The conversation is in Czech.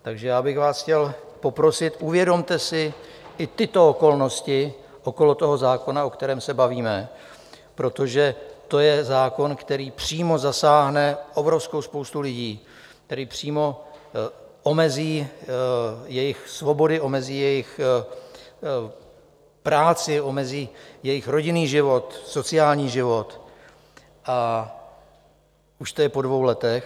Takže já bych vás chtěl poprosit, uvědomte si i tyto okolnosti okolo toho zákona, o kterém se bavíme, protože to je zákon, který přímo zasáhne obrovskou spoustu lidí, který přímo omezí jejich svobody, omezí jejich práci, omezí jejich rodinný život, sociální život, a už to je po dvou letech.